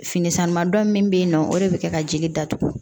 Fini sanuman dɔ min bɛ yen nɔ o de bɛ kɛ ka jeli datugu